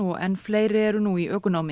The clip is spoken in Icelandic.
enn fleiri eru nú í ökunámi